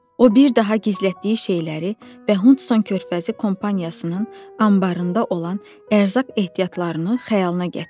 O bir daha gizlətdiyi şeyləri və Hudson körfəzi kompaniyasının anbarında olan ərzaq ehtiyatlarını xəyalına gətirdi.